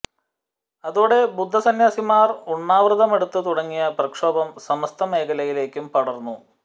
അതോടെ ബുദ്ധ സന്യാസിമാർ ഉണ്ണാവൃതമെടുത്ത് തുടങ്ങിയ പ്രക്ഷോഭം സമസ്ത മേഖലയിലേക്കും പടർന്നു